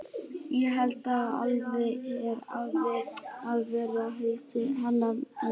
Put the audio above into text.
Ég held nú alltaf að hér hafi verið að verki hálfsystir hennar mömmu.